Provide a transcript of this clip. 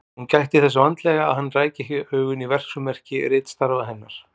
Hún gætti þess vandlega að hann ræki ekki augun í verksummerki ritstarfa hennar.